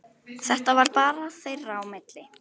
Þetta var bara þeirra á milli.